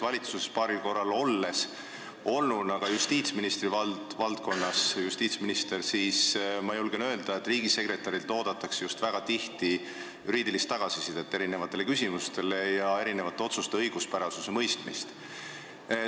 Olles justiitsministrina paaril korral valitsuses olnud, ma julgen öelda, et riigisekretärilt oodatakse väga tihti just juriidilist tagasisidet erinevates küsimustes ja erinevate otsuste õiguspärasuse mõistmist.